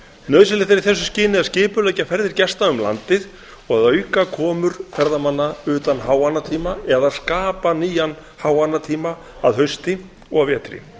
nauðsynlegt er í þessu skyni að skipuleggja ferðir gesta um landið og að auka komur ferðamanna utan háannatíma eða skapa nýjan háannatíma að hausti og vetri